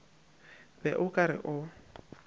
be o ka re o